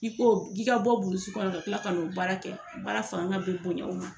K'i ko k'i ka bɔ burusi kɔnɔ ka kila ka n'o baara kɛ, baara fanga bɛ bonya o ma